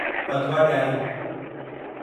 पदवा ॾियारी